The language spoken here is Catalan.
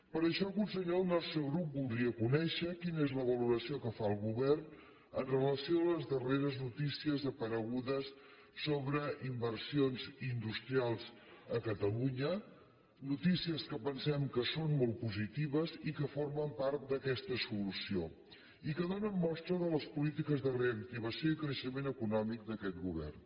per això conseller el nostre grup voldria conèixer quina és la valoració que fa el govern amb relació a les darreres notícies aparegudes sobre inversions industrials a catalunya notícies que pensem que són molt positives i que formen part d’aquesta solució i que donen mostra de les polítiques de reactivació i creixement econòmic d’aquest govern